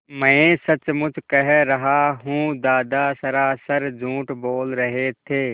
मैं सचमुच कह रहा हूँ दादा सरासर झूठ बोल रहे थे